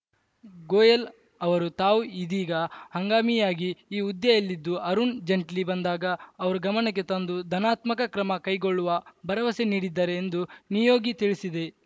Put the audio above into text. ಗೋಯಲ್ ಅವರು ತಾವು ಇದೀಗ ಹಂಗಾಮಿಯಾಗಿ ಈ ಹುದ್ದೆಯಲ್ಲಿದ್ದು ಅರುಣ್‌ ಜೆನ್ ಟ್ಲಿ ಬಂದಾಗ ಅವರ ಗಮನಕ್ಕೆ ತಂದು ಧನಾತ್ಮಕ ಕ್ರಮ ಕೈಗೊಳ್ಳುವ ಭರವಸೆ ನೀಡಿದ್ದಾರೆ ಎಂದು ನಿಯೋಗಿ ತಿಳಿಸಿದೆ